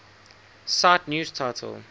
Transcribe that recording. cite news title